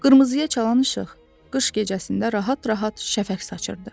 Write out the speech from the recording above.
Qırmızıya çalan işıq qış gecəsində rahat-rahat şəfəq saçırdı.